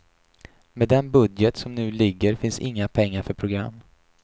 Med den budget som nu ligger finns inga pengar för program.